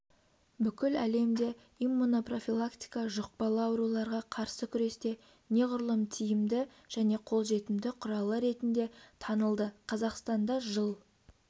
бүкіл әлемде иммунопрофилактика жұқпалы ауруларға қарсы күресте неғұрлым тиімді және қолжетімді құралы ретінде танылды қазақстанда жыл